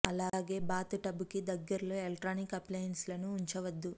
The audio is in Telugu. అలాగే బాత్ టబ్ కి దగ్గరలో ఎలెక్ట్రిక్ అప్లయన్స్ లను ఉంచవద్దు